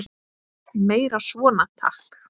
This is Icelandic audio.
Meira svona, takk!